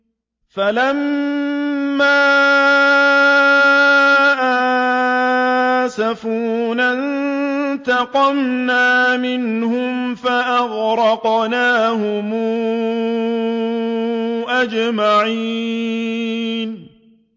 فَلَمَّا آسَفُونَا انتَقَمْنَا مِنْهُمْ فَأَغْرَقْنَاهُمْ أَجْمَعِينَ